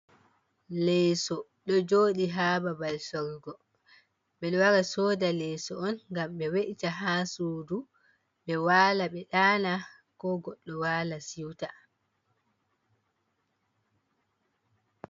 Leso ɗo joɗi ha babal sorrugo, ɓeɗo wara soda leso on ngam ɓe we'ita ha sudu ɓe wala ɓe ɗana ko goɗɗo wala siuta.